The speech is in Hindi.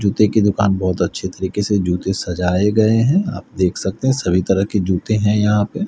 जूते की दुकान बहुत अच्छी तरीके से जूते सजाए गए हैं आप देख सकते हैं सभी तरह के जूते हैं यहां पे।